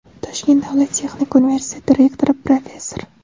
Toshkent davlat texnika universiteti rektori, professor;.